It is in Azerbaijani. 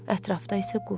Ətrafda isə qum.